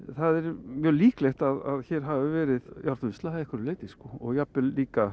mjög líklegt að hér hafi verið járnvinnsla að einhverju leyti sko og jafnvel